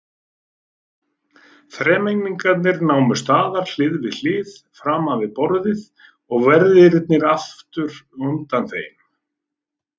Þremenningarnir námu staðar hlið við hlið framan við borðið og verðirnir aftur undan þeim.